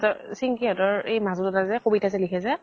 হতৰ চিন্কি হতৰ এই মাজু দাদা যে, কবিতা যে লিখে যে